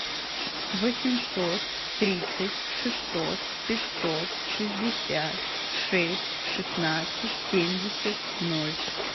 восемьсот тридцать шестьсот пятьсот шестьдесят шесть шестнадцать семьдесят ноль